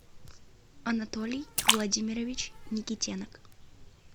анатолий владимирович никитенок